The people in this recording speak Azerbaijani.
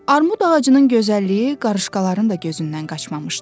Armud ağacının gözəlliyi qarışqaların da gözündən qaçmamışdı.